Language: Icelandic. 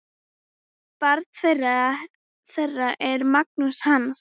Barn þeirra er Magnús Hans.